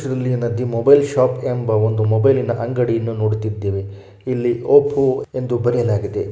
Mobile shop ಎಂಬ ಮೊಬೈಲಿನ ಅಂಗಡಿಯನ್ನು ನೋಡುತ್ತಿದ್ದೇವೆ. ಇಲ್ಲೀ ಓಪೋ ಎಂದು ಬರೆಯಲಾಗಿದೆ.